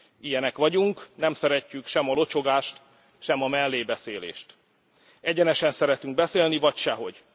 Ilyenek vagyunk, nem szeretjük sem a locsogást, sem a mellébeszélést. Egyenesen szeretünk beszélni, vagy sehogy.